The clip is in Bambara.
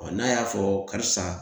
n'a y'a fɔ karisa